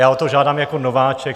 Já o to žádám jako nováček.